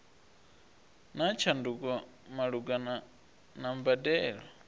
na tshanduko malugana na mbadelo